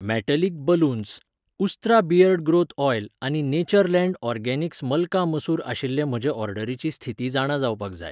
metallic balloons, Ustraa beard growth oil आनी Natureland organics मल्का मसूर आशिल्ले म्हजे ऑर्डरीची स्थिती जाणा जावपाक जाय